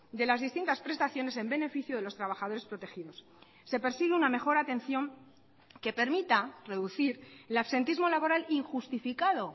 de las distintas prestaciones en beneficio de los trabajadores protegidos se persigue una mejor atención que permita reducir el absentismo laboral injustificado